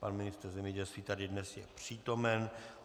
Pan ministr zemědělství tady dnes je přítomen.